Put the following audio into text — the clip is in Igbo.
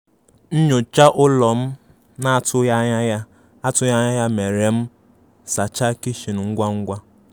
Nnyocha ụlọ m na atụghi anya ya atụghi anya ya mere m sacha kichin ngwa ngwa